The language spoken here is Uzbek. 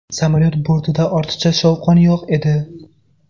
Samolyot bortida ortiqcha shovqin yo‘q edi.